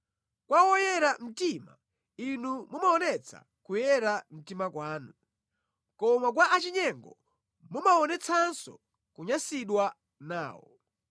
kwa woyera mtima, Inu mumaonetsa kuyera mtima kwanu, koma kwa achinyengo mumaonetsanso kunyansidwa nawo.